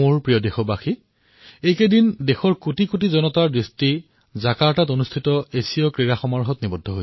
মোৰ মৰমৰ দেশবাসীসকল এইকেইদিন কোটি কোটি দেশবাসীয়ে জাকাৰ্টাত অনুষ্ঠিত হোৱা এছিয়াম গেমছৰ প্ৰতি ধ্যান দিছে